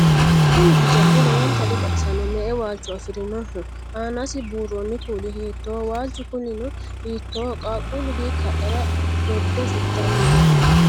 Kuni hijaari lowonta dibaxisanno? Me"e waalicho afirinoho? Aanasi buurronni kuuli hiittoho? Waalichu kuulino hiittoho? Qaaqqullu hiikka hadhara dodde fultanni no?